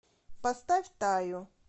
поставь таю